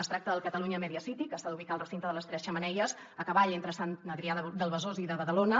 es tracta del catalunya media city que s’ha d’ubicar al recinte de les tres xemeneies a cavall entre sant adrià de besòs i de badalona